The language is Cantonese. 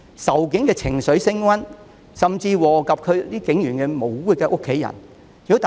仇警的情緒升溫，甚至禍及警員無辜的家人。